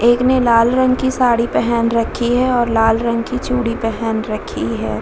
एक ने लाल रंग का साड़ी पहने रखी है और लाल रंग की चूड़ी पेहन रखी है।